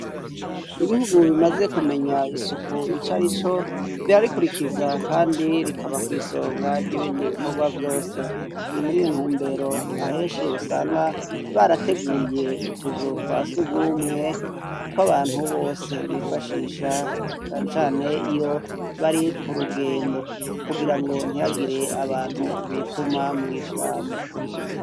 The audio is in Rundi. Ibihugu bimaze kumenya isuku ico ari co virarikurikiza, kandi rikaba kw'isonga ry'ibindi bikorwa vyose ni muri iyo ntumbero ahesheye uwusanga barateguye utuzu twa si ugumwe two abantu bose bifashisha ancane iyo bari kurugee ndo kugira ngo ntihagire abantu bituma mw'ishamba.